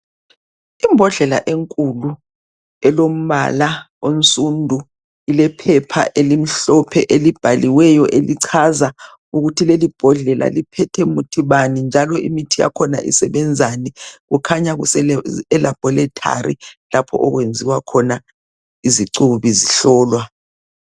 Imbodlela enkulu ilombala onsundu lephepha elimhlophe elibhaliweyo elichaza ukuthi leli bhodlela liphethe Muthi bani njalo lisebenzani kukhanya kuse Labolatory lapha okwenziwa khona izicubi zihlolwa